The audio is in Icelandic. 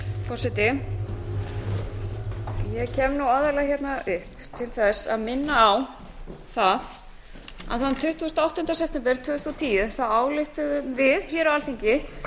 forseti ég kem aðallega hingað upp til að minna á það að þann tuttugasta og áttunda september tvö þúsund og tíu ályktuðum við á alþingi